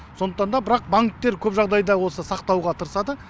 сондықтан да бірақ банктер көп жағдайда осы сақтауға тырысады